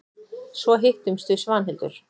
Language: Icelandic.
Svo hittumst við Svanhildur.